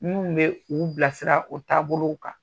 Minnu bɛ u bilasira o taabolow kan